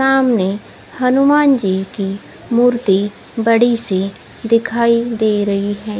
सामने हनुमान जी की मूर्ति बड़ी सी दिखाई दे रही है।